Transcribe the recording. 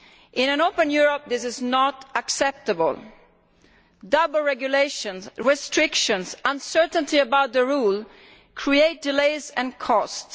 In an open Europe, this is not acceptable double regulations, restrictions and uncertainty about the rules create delays and costs.